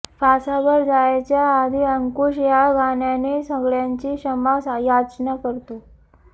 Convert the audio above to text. फासावर जायच्या आधी अंकुश या गाण्याने सगळ्यांची क्षमा याचना करतो